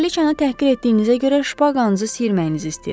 Kraliçanı təhqir etdiyinizə görə şpaqanızı sirməyinizi istəyirəm.